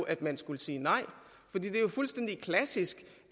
at man skulle sige nej for det er jo fuldstændig klassisk